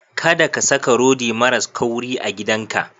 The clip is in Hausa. Kada ka saka rodi maras kauri a gidanka.